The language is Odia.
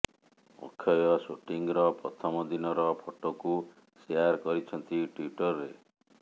ଅକ୍ଷୟ ସୁଟିଂର ପ୍ରଥମ ଦିନର ଫଟୋକୁ ଶେୟାର କରିଛନ୍ତି ଟ୍ୱିଟରରେ